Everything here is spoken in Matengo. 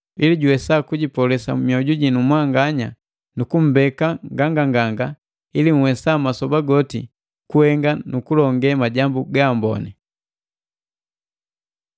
ili juwesa kujipolesa mioju jinu mwanganya nu kumbeka nganganganga ili nhwesa masoba goti kuhenga nu kulonge majambu gaamboni.